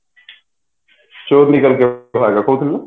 ହେଲା ଦେଖଉଥିଲୁ